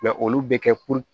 olu bɛ kɛ